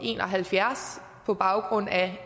en og halvfjerds på baggrund af